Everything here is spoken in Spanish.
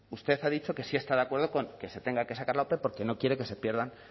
usted ha dicho que sí está de acuerdo con que se tenga que sacar la ope porque no quiere que se pierdan